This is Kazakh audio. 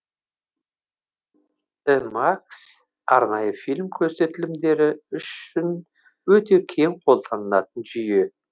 імах арнайы фильм көрсетілімдері үшін өте кең қолданылатын жүйе